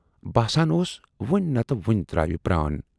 باسان اوس وُنۍ نتہٕ وُنۍ تراوِ پران۔